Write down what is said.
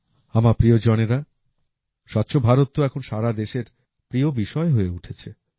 আমার প্রিয়জনেরা স্বচ্ছ ভারত তো এখন সারা দেশের প্রিয় বিষয় হয়ে উঠেছে